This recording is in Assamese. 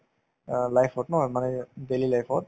অ, life ত নহয় মানে daily life ত